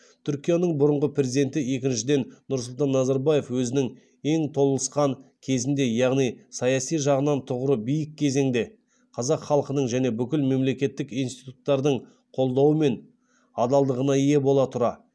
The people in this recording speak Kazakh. түркияның бұрынғы президенті екіншіден нұрсұлтан назарбаев өзінің ең толысқан кезінде яғни саяси жағынан тұғыры биік кезеңде қазақ халқының және бүкіл мемлекеттік институттардың қолдауы мен адалдығына ие бола тұра